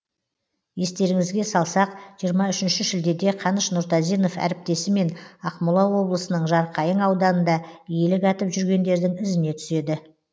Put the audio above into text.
естеріңізге салсақ жиырма үшінші шілдеде қаныш нұртазинов әріптесімен ақмола облысының жарқайың ауданында елік атып жүргендердің ізіне түседі